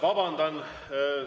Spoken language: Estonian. Vabandan!